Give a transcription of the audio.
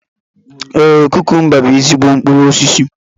Ee, kukumba bú ezigbo mkpụrụ osisi